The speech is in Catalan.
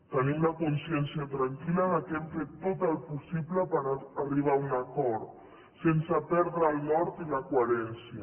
tenim la consciència tranquil·la que hem fet tot el possible per arribar a un acord sense perdre el nord i la coherència